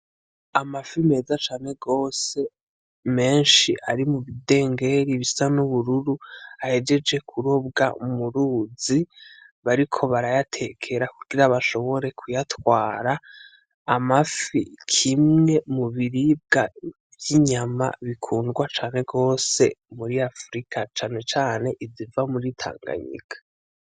Amafi meza cane gose menshi ari mu bidengeri bisa n'ubururu ahejeje kurobwa mu ruzi bariko barayatekera kugira bashobore kuyatwara, amafi kimwe mu biribwa vy'inyama bikundwa cane gose muri Afrika cane cane iziva muri Tanganyika.